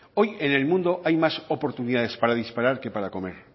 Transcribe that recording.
hoy en el mundo hay más oportunidades para disparar que para comer